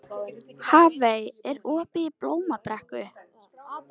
Hafey, er opið í Blómabrekku?